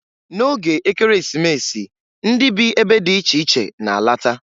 Na oge Ekeresimesi, ndị bi ebe dị iche iche na-alata.